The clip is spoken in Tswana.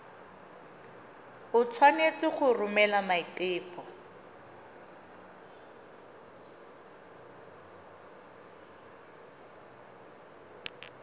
o tshwanetse go romela maiteko